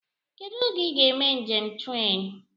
Kedụ oge I ga eme njem tren?